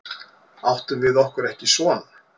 Áttum við okkur ekki son?